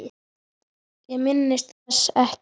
Ég minnist þess ekki.